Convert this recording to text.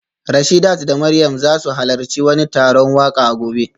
Rashidat da Mariam za su halarci wani taron waka a gobe